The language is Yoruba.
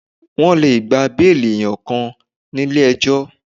Wọ́n lè gba béìlì enikan nílé ejọ́.